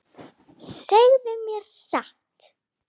Segðu mér satt.